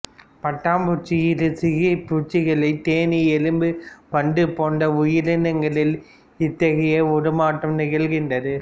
பட்டாம்பூச்சி இருசிறகிப் பூச்சிகள் தேனீ எறும்பு வண்டு போன்ற உயிரினங்களில் இத்தகைய உருமாற்றம் நிகழ்கின்றது